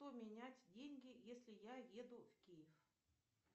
поменять деньги если я еду в киев